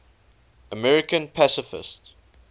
american pacifists